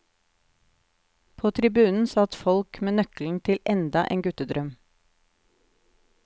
På tribunen satt folk med nøkkelen til enda en guttedrøm.